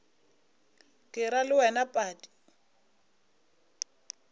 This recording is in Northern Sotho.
ke ra le wena padi